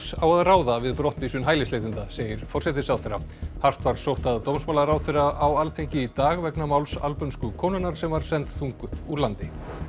á að ráða við brottvísun hælisleitenda segir forsætisráðherra hart var sótt að dómsmálaráðherra á Alþingi í dag vegna máls albönsku konunnar sem var send þunguð úr landi